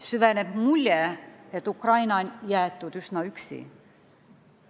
Süveneb mulje, et Ukraina on jäetud üsna üksi.